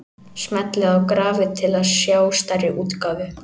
Smellið á grafið til að sjá stærri útgáfu.